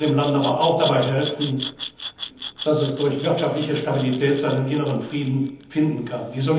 werden. Wir sollten dem Land aber auch dabei helfen, dass es durch wirtschaftliche Stabilität seinen inneren Frieden